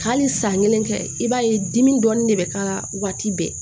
Hali san kelen kɛ i b'a ye dimi dɔɔnin de bɛ k'a la waati bɛɛ